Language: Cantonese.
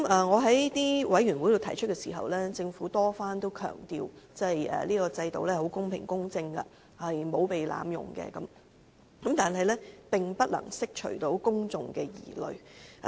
我在委員會提出這問題時，政府多番強調這個制度公平公正，沒有被濫用，但這樣並不能釋除公眾的疑慮。